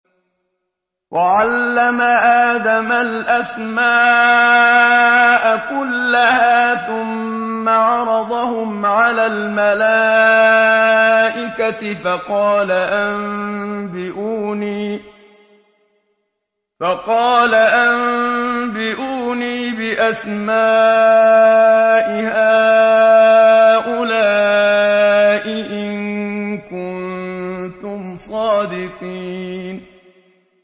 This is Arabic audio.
وَعَلَّمَ آدَمَ الْأَسْمَاءَ كُلَّهَا ثُمَّ عَرَضَهُمْ عَلَى الْمَلَائِكَةِ فَقَالَ أَنبِئُونِي بِأَسْمَاءِ هَٰؤُلَاءِ إِن كُنتُمْ صَادِقِينَ